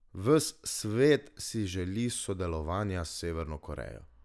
Ves svet si želi sodelovanja s Severno Korejo.